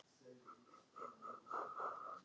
Ég vildi draga þetta fram.